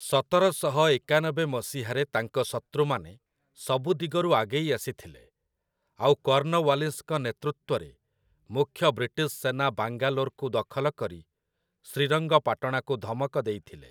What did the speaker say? ସତରଶହ ଏକାନବେ ମସିହାରେ ତାଙ୍କ ଶତୃମାନେ ସବୁ ଦିଗରୁ ଆଗେଇ ଆସିଥିଲେ, ଆଉ କର୍ଣ୍ଣୱାଲିସ୍‌ଙ୍କ ନେତୃତ୍ୱରେ ମୁଖ୍ୟ ବ୍ରିଟିଶ୍ ସେନା ବାଙ୍ଗାଲୋରକୁ ଦଖଲ କରି ଶ୍ରୀରଙ୍ଗପାଟଣାକୁ ଧମକ ଦେଇଥିଲେ ।